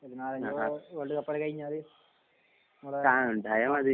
ആഹ് ഇങ്ങളെ ഇണ്ടായാ മതി